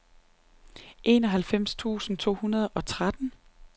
enoghalvfems tusind to hundrede og tretten